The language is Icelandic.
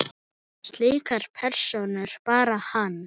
Slíka persónu bar hann.